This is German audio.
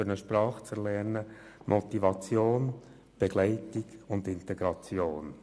Um eine Sprache zu lernen, braucht es Motivation, Begleitung und Integration.